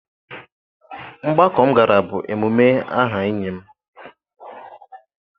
Mgbakọ m gara bụ emume aha enyi m